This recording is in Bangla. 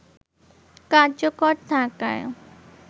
কার্যকর থাকায়